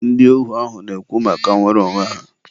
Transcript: ndị ohu ahụ na-ekwu maka nwere onwe ha.